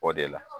O de la